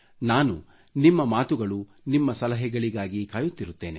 ನಾನು ನಿಮ್ಮ ಮಾತುಗಳು ನಿಮ್ಮ ಸಲಹೆಗಳಿಗಾಗಿ ಕಾಯುತ್ತಿರುತ್ತೇನೆ